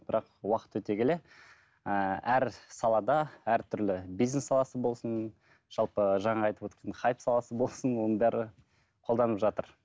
бірақ уақыт өте келе ыыы әр салада әртүрлі бизнес саласы болсын жалпы жаңағы айтып өткен хайп саласы болсын оның бәрі қолданып жатыр